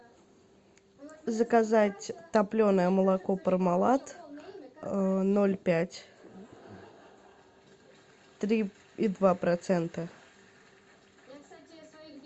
заказать топленое молоко пармалат ноль пять три и два процента